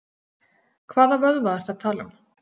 Hvaða vöðva ertu að tala um?